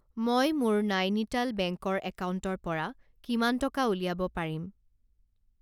মই মোৰ নাইনিটাল বেংকৰ একাউণ্টৰ পৰা কিমান টকা উলিয়াব পাৰিম?